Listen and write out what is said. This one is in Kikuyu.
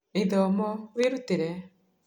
Ithomo werutire?